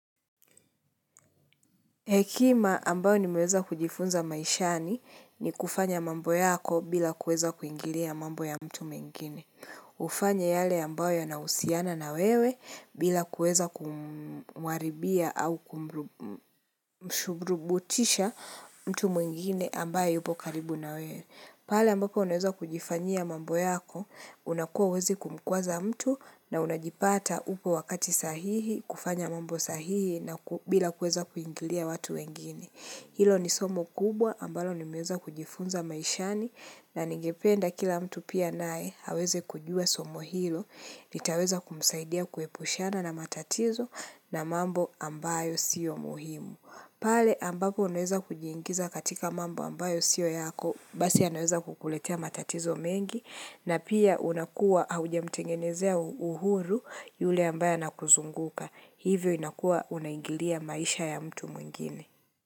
Hekima ambayo ni meweza kujifunza maishani ni kufanya mambo yako bila kueza kuingilia mambo ya mtu mwingine. Ufanye yale ambayo yanahusiana na wewe bila kueza kumwaribia au kumshurubutisha mtu mengine ambaye yupo karibu na wewe. Pale ambapo unaweza kujifanyia mambo yako, unakua huwezi kumkwaza mtu na unajipata upo wakati sahihi, kufanya mambo sahihi na bila kueza kuingilia watu wengine. Hilo ni somo kubwa ambalo nimeweza kujifunza maishani na ningependa kila mtu pia nae, aweze kujua somo hilo, litaweza kumsaidia kuepushana na matatizo na mambo ambayo sio muhimu. Pale ambapo unaweza kujiingiza katika mambo ambayo sio yako, basi yanaweza kukuletea matatizo mengi, na pia unakua hauja mtengenezea uhuru yule ambaye anakuzunguka, hivyo unakua unaingilia maisha ya mtu mwingine.